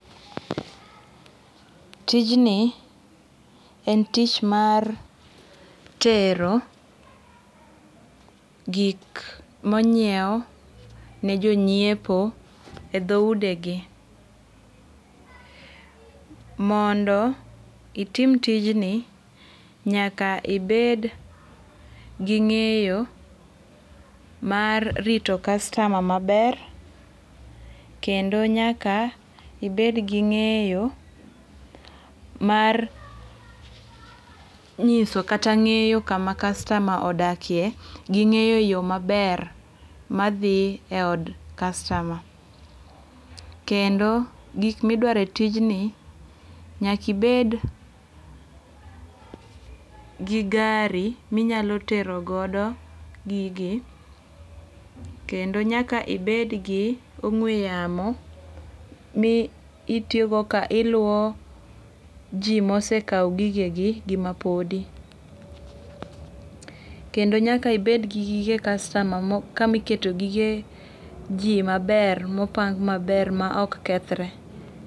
Tijni e tich mar tero gik monyiew ne jonyiepo e dho ude gi. Mondo itim tijni, nyaka ibed gi ng'eyo mar rito customer maber kendo nyaka ibed gi ng'eyo mar nyiso kata ng'eyo kama customer odakie gi ng'eyo yo maber ma dhi e od customer. Kendo gik miduaro e tijni, nyaka ibed gi gari minyalo terogodo gigi kendo nyaka ibed gi ong'we yamo mi itiyogo ka iluwo ji mosekawo gigegi gi mapodi. Kendo nyaka ibed gi gige customer kama iketo gige ji maber mopang maber ma ok kethre.